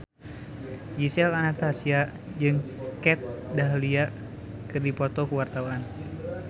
Gisel Anastasia jeung Kat Dahlia keur dipoto ku wartawan